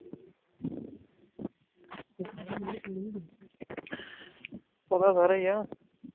ਪਤਾ ਸਾਰਾ ਹੀ ਐ